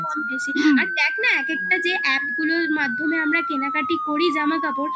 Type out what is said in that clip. দেখ না এক একটা যে app গুলোর মাধ্যমে আমরা কেনাকাটি করি জামাকাপড়